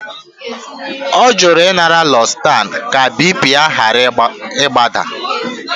Ọ jụrụ ịnara losertan ka BP ya ghara ịdaba